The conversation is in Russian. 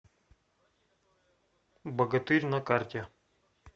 богатырь на карте